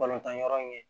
Balontan yɔrɔ in ye